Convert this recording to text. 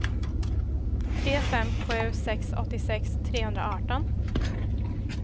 tre fem sju sex åttiosex trehundraarton